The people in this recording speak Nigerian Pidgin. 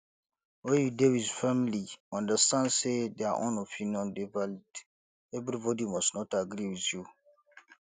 when you dey with family understand sey their own opinion dey valid everybody must not agree with you